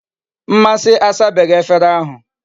Mmasi asabeghi efere ahu